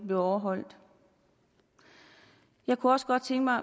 bliver overholdt jeg kunne også godt tænke mig